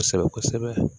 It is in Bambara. Kosɛbɛ kosɛbɛ